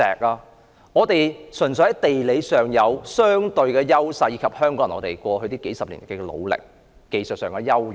香港人純粹擁有地理上的相對優勢，並憑藉過去數十年的努力，達致技術上的優勢。